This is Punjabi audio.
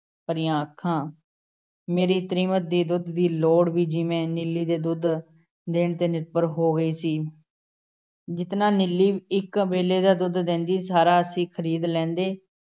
ਭਰੀਆਂ ਅੱਖੀਆਂ । ਮੇਰੀ ਤ੍ਰੀਮਤ ਦੀ ਦੁੱਧ ਦੀ ਲੋੜ ਜਿਵੇਂ ਨੀਲੀ ਦੇ ਦੁੱਧ ਦੇਣ ਤੇ ਨਿਰਭਰ ਹੋ ਗਈ ਸੀ । ਜਿਤਨਾ ਨੀਲੀ ਇੱਕ ਵੇਲ਼ੇ ਦਾ ਦੁੱਧ ਦਿੰਦੀ ਸਾਰਾ ਅਸੀਂ ਖ਼ਰੀਦ ਲੈਂਦੇ ।